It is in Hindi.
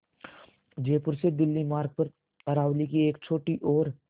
जयपुर से दिल्ली मार्ग पर अरावली की एक छोटी और